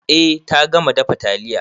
Eh ta gama dafa taliya.